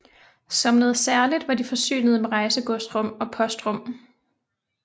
Som noget særligt var de forsynet med rejsegodsrum og postrum